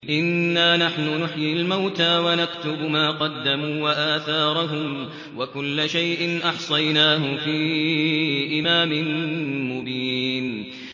إِنَّا نَحْنُ نُحْيِي الْمَوْتَىٰ وَنَكْتُبُ مَا قَدَّمُوا وَآثَارَهُمْ ۚ وَكُلَّ شَيْءٍ أَحْصَيْنَاهُ فِي إِمَامٍ مُّبِينٍ